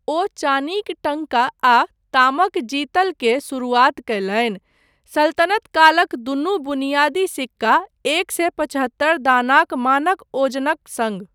ओ चानीक टङ्का आ तामक जितल के शुरूआत कयलनि, सल्तनत कालक दूनू बुनियादी सिक्का, एक सए पचहत्तर दानाक मानक ओजनक सङ्ग।